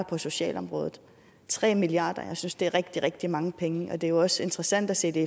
på socialområdet tre milliard kr jeg synes det er rigtig rigtig mange penge det er også interessant at sætte